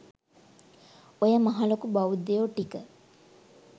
ඔය මහ ලොකු බෞද්ධයො ටික